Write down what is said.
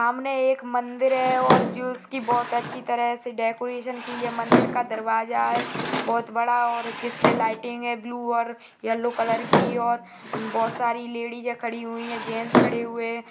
सामने एक मंदिर है और जिसकी बहुत अच्छी तरह से डेकोरेशन की है मंदिर का दरवाजा है बहुत बड़ा और जिसपे लाइटिंग है ब्लू और येलो कलर की और बहुत सारी लेडीज है खड़ी हुई है जेन्ट्स खड़े हुए हैं।